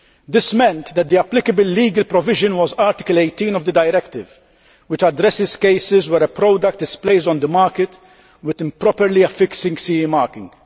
This meant that the applicable legal provision was Article 18 of the directive which addresses cases where a product is placed on the market with improperly affixed CE marking.